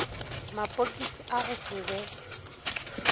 mapokisi a go se be